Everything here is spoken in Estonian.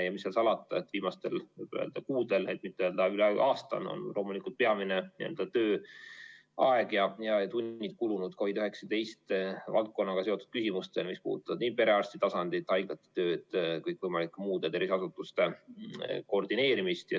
Mis seal salata, viimastel kuudel, et mitte öelda üle aasta, on loomulikult tööaeg ja ‑tunnid peamiselt kulunud COVID‑19 valdkonnaga seotud küsimustele, mis puudutavad nii perearstitasandit, haiglate tööd kui ka kõikvõimalike muude tervishoiuasutuste töö koordineerimist.